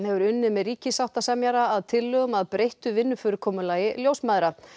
hefur unnið með ríkissáttasemjara að tillögum að breyttu vinnufyrirkomulagi ljósmæðra